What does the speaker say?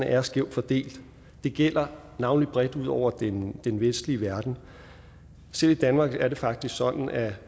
er skævt fordelt det gælder navnlig bredt ud over den den vestlige verden selv i danmark er det faktisk sådan at